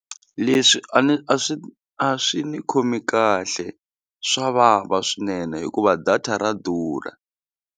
Leswi a ni a swi a swi ni khomi kahle swa vava swinene hikuva data ra durha.